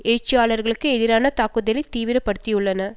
எழுச்சியாளர்களுக்கு எதிரான தாக்குதலை தீவிர படுத்தியுள்ளன